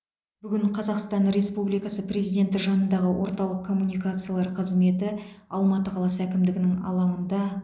бүгін қазақстан республикасы президенті жанындағы орталық коммуникациялар қызметі алматы қаласы әкімдігінің алаңында